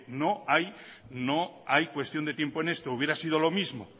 no hay cuestión de tiempo en esto hubiera sido lo mismo